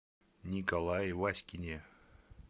николае васькине